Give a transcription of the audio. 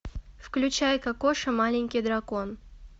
включай кокоша маленький дракон